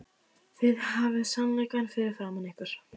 Þið hafið sannleikann fyrir framan ykkur.